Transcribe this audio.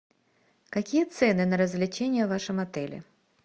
какие цены на развлечения в вашем отеле